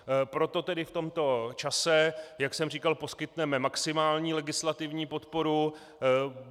Proto tedy v tomto čase, jak jsem říkal, poskytneme maximální legislativní podporu.